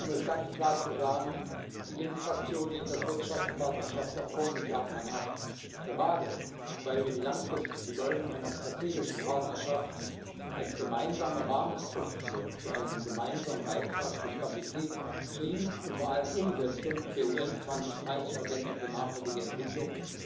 Um es ganz klar zu sagen Die Linksfraktion lehnt das Wirtschaftspartnerschaftsabkommen mit Japan ab, gerade weil wir die langfristige Bedeutung einer strategischen Partnerschaft als gemeinsame Rahmenstruktur für einen gemeinsamen Beitrag zu Stabilität, Frieden und vor allem zur Umsetzung der UN 2030 Agenda für nachhaltige Entwicklung